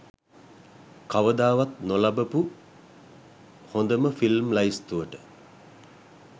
කවදාවත් නොබලපු හොඳම ෆිල්ම් ලැයිස්තුවට.